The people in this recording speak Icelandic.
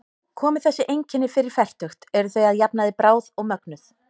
Komi þessi einkenni fyrir fertugt eru þau að jafnaði bráð og mögnuð.